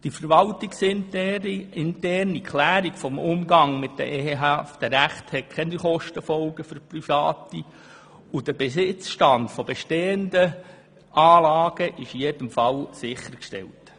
Die verwaltungsinterne Klärung des Umgangs mit den ehehaften Rechten hat keine Folgekosten für Private, und der Besitzstand von bestehenden Anlagen ist in jedem Fall sichergestellt.